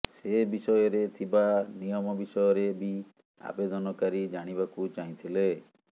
ସେ ବିଷୟରେ ଥିବା ନିୟମ ବିଷୟରେ ବି ଆବେଦନକାରୀ ଜାଣିବାକୁ ଚାହିଁଥିଲେ